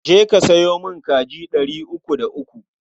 Je ka sayo min kaji ɗari uku da uku.